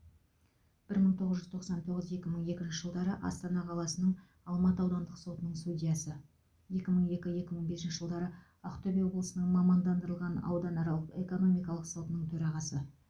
бір мың тоғыз жүз тоқсан тоғыз екі мың екінші жылдары астана қаласының алматы аудандық сотының судьясы екі мың екі екі мың бесінші жылдары ақтөбе облысының мамандандырылған ауданаралық экономикалық сотының төрағасы